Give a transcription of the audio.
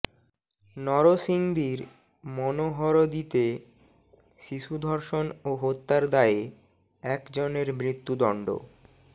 নরসিংদীর মনোহরদীতে শিশু ধর্ষণ ও হত্যার দায়ে একজনের মৃত্যুদণ্ড